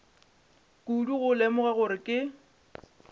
kudu go lemoga gore ke